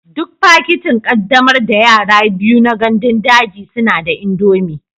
Duk fakitin ƙaddamar da yara biyu na gandun daji suna da indomie